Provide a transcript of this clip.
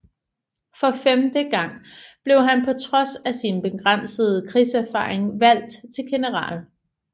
For femte gang blev han på trods af sin begrænsede krigserfaring valgt til general